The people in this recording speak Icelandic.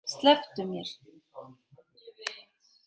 Slepptu mér!